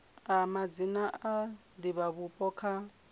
a madzina a divhavhupo kha